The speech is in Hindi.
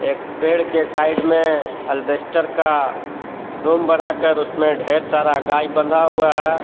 एक पेड़ के साइड में अल्बेस्टर का रूम बनाकर उसमें ढेर सारा गाय बना हुआ है।